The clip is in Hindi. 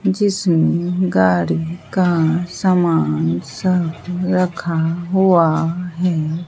जिसमें गाड़ी का सामान सब रखा हुआ है।